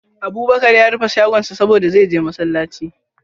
Abubakar ya rufe shagonsa saboda, zai je masallaci.